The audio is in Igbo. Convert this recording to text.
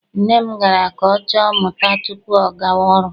Nne m gara ka ọ chọọ mma tupu ọ gawa ọrụ.